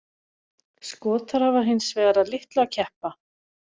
Skotar hafa hins vegar að litlu að keppa.